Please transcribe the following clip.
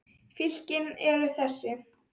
Fylkin eru þessi